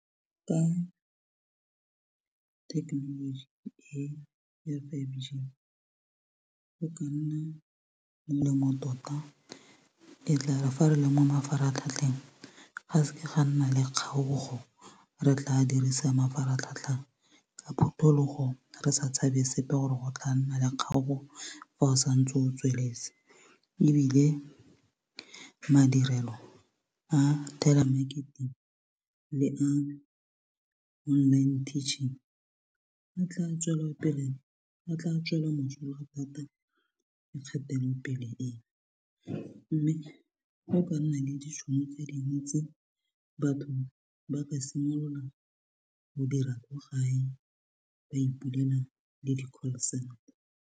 Ka technology e ya five G go ka nna molemo tota e tla refa re le mo mafaratlhatlheng ga seke ga nna le kgaogo re tla dirisa mafaratlhatlha ka phutulogo re sa tshabe sepe gore go tla nna le kgaooo fa o sa ntse o tsweletse ebile madirelo a telemarketing le online tearning a tla tswela mosola thata ke kgatelopele e mme go ka nna le ditšhono tse dintsi batho ba ka simolola go dira kwa gae ba ipolaela le di-call center.